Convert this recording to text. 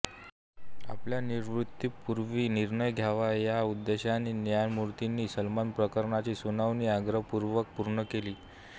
आपल्या निवृत्तीपूर्वी निर्णय द्यावा या उद्देशानेच न्यायमूर्तींनी सलमान प्रकरणाची सुनावणी आग्रहपूर्वक पूर्ण केली